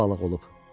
Ayrı balıq olub.